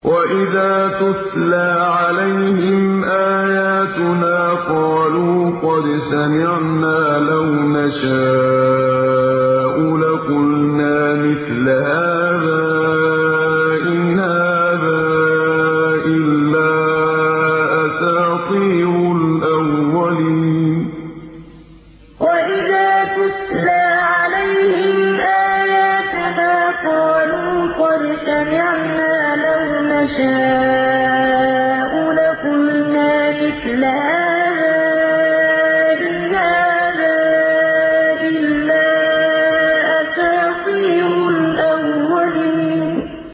وَإِذَا تُتْلَىٰ عَلَيْهِمْ آيَاتُنَا قَالُوا قَدْ سَمِعْنَا لَوْ نَشَاءُ لَقُلْنَا مِثْلَ هَٰذَا ۙ إِنْ هَٰذَا إِلَّا أَسَاطِيرُ الْأَوَّلِينَ وَإِذَا تُتْلَىٰ عَلَيْهِمْ آيَاتُنَا قَالُوا قَدْ سَمِعْنَا لَوْ نَشَاءُ لَقُلْنَا مِثْلَ هَٰذَا ۙ إِنْ هَٰذَا إِلَّا أَسَاطِيرُ الْأَوَّلِينَ